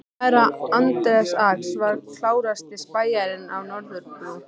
Herra Anders Ax var klárasti spæjarinn á Norðurbrú.